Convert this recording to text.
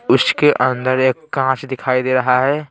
उसके अंदर एक कांच दिखाई दे रहा है।